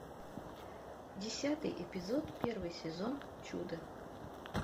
десятый эпизод первый сезон чудо